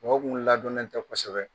Mɔgɔ kun ladɔnnen tɛ kosɛbɛ